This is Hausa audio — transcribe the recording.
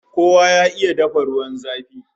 Kowa ya iya dafa ruwan zafi!